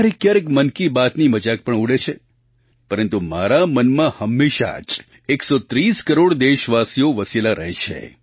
ક્યારેક ક્યારેક મન કી બાતની મજાક પણ ઉડે છે પરંતુ મારા મનમાં હંમેશાં જ 130 કરોડ દેશવાસીઓ વસેલા રહે છે